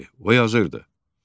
O yazırdı: